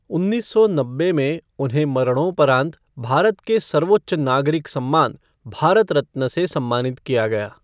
उन्नीस सौ नब्बे में उन्हें मरणोपरांत भारत के सर्वोच्च नागरिक सम्मान भारत रत्न से सम्मानित किया गया।